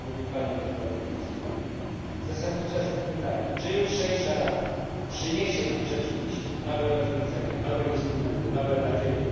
Mówił pan o tych nowych instrumentach. Zasadnicze pytanie czy jutrzejsza Rada przyniesie nam rzeczywiście nowe rozwiązania, nowe instrumenty, nowe nadzieje?